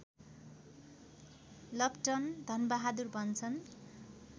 लप्टन धनबहादुर भन्छन्